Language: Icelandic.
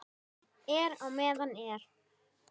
Síðasta ár var Jóa erfitt.